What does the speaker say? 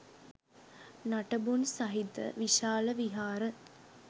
නටබුන් සහිත විශාල විහාර